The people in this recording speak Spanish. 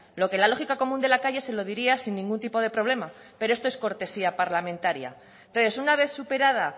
lo que la lógica común de la calle se lo diría sin ningún tipo de problema pero esto es cortesía parlamentaria entonces una vez superada